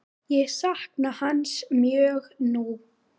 Ég sakna hans mjög nú.